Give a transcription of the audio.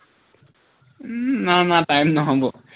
উম নোৱাৰো নোৱাৰো time নহব